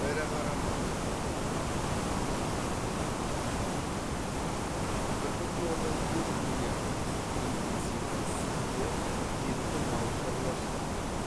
ірі қара мал интенсивті сүтті етті мал шаруашылығы